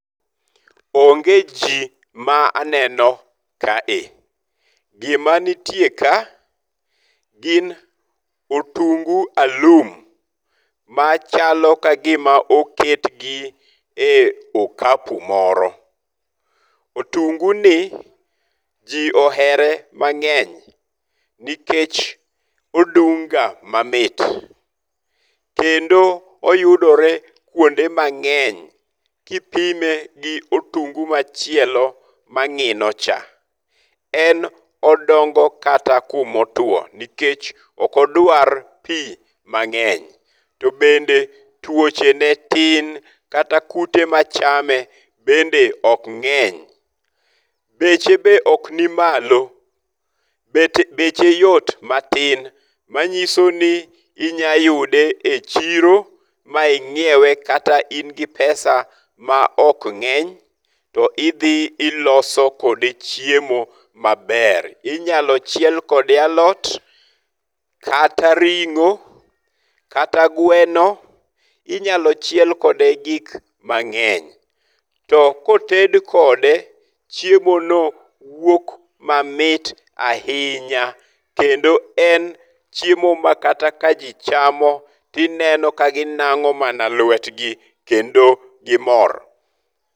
Onge ji ma aneno kae. Gima nitie ka gin otungu alum. Machalo ka gima oket gi e okapu moro. Otungu ni ji ohere mang'eny nikech odung' ga mamit. Kendo oyudore kuonde mang'eny kipime gi otungu machielo mang'ino cha. En odongo kata kuma otuo nikech ok odwar pi mang'eny. To bende tuoche ne tin kata kute machame bende ok ng'eny. Beche be ok nimalo. Beche yot matin machiso ni inyayude e chiro ma ingiewe kata in gi pesa ma ok ng'eny. To idhi iloso kode chiemo maber. Inyalo chiel kode alot kata ring'o, kata gweno. Inyalo chiel kode gik mang'eny. To koted kode chiemo no wuok mamit ahinya kendo en chiemo ma kata ka ji chamo to ineno ka ginang'o mana luet gi kendo gimor.